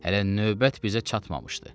Hələ növbət bizə çatmamışdı.